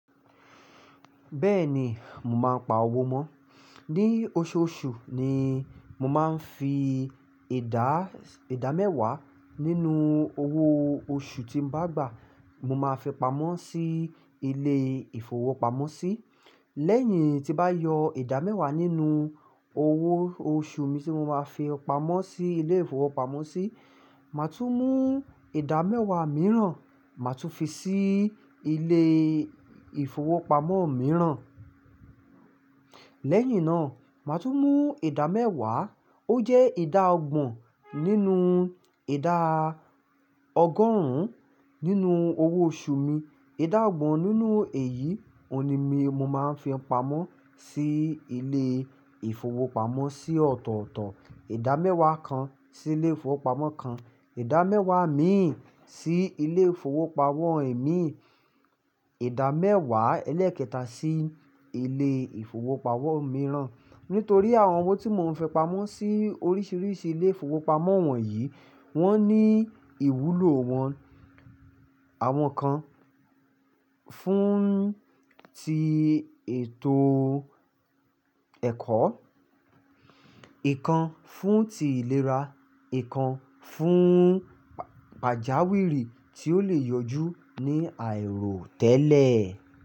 Bẹ́ẹ̀ni, mo máa ń pa owó mọ́. Ni oṣooṣù ni mo máa ń fi ìdá, ìdámẹ́wá nínú owó oṣù tí mo bá gbà, mo máa fi pamọ́ sí ilé ìfowópamọ́sí. Lẹ́yìn tí bá yọ ìdámẹ́wá nínú owó oṣù mi tí mo máa fi pamọ́ sí ilé ìfowópamọ́sí, màá tún mú ìdámẹ́wá mìíràn, màá tún fi sí ilé ìfowópamọ́ mìíràn. Lẹ́yìn náà, màá tún mú ìdámẹ́wá, ó jẹ́ ìdá ọgbọ̀n nínú ìdá ọgọ́rùn-ún nínú owó oṣù mi. Ìdá ọgbọ̀n nínú èyí, òun ni mí mo máa ń fi pamọ́ sí ilé ìfowópamọ́sí ọ̀tọ̀ọ̀tọ̀. Ìdámẹ́wá kan sí ilé ìfowópamọ́ kan, ìdámẹ́wá ẹ̀mí sí ilé ìfowópamọ́ ẹ̀mí, ìdámẹ́wá ẹlẹ́ẹ̀kẹta sí ilé ìfowópamọ́ mìíràn. Nítorí àwọn owó tí mò ń fi pamọ́ sí oríṣiríṣi ilé ìfowópamọ́ wọ̀nyí, wọ́n ní ìwúlò wọn. Àwọn kan fún ti ètò ẹ̀kọ́, ìkan fún ti ìlera, ìkan fún pàjáwìrì tí ó le yọjú ní àìròtẹ́lẹ̀.